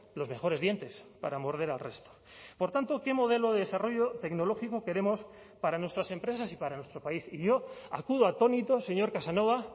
los mejores dientes para morder al resto por tanto qué modelo de desarrollo tecnológico queremos para nuestras empresas y para nuestro país y yo acudo atónito señor casanova